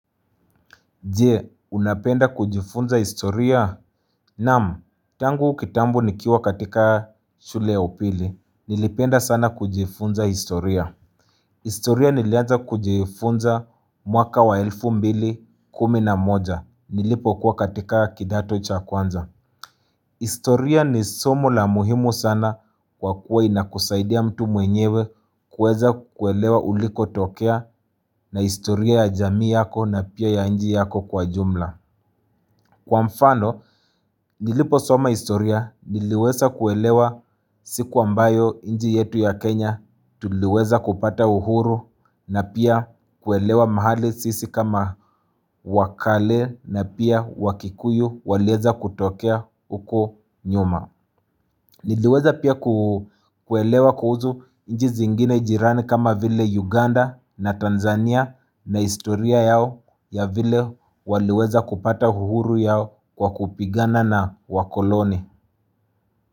Jee, unapenda kujifunza historia? Naam, tangu kitambo nikiwa katika shule ya upili. Nilipenda sana kujifunza historia. Historia nilianza kujifunza mwaka wa elfu mbili kumi na moja. Nilipo kuwa katika kidato cha kwanza. Historia ni somo la muhimu sana kwa kuwa inakusaidia mtu mwenyewe kuweza kuelewa uliko tokea na historia ya jamii yako na pia ya nchi yako kwa jumla. Kwa mfano nilipo soma historia niliweza kuelewa siku ambayo nchi yetu ya Kenya tuliweza kupata uhuru na pia kuelewa mahali sisi kama wakale na pia wakikuyu walieza kutokea huko nyuma. Niliweza pia kuelewa kuhuzu nchi zingine jirani kama vile Uganda na Tanzania na historia yao ya vile waliweza kupata uhuru yao kwa kupigana na wakoloni.